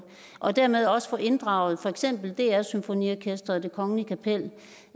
og dermed også få inddraget for eksempel dr symfoniorkestret og det kongelige kapel